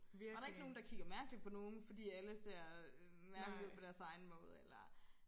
Og der ikke nogen der kigger mærkeligt på nogen fordi alle ser øh mærkelige ud på deres egen måde eller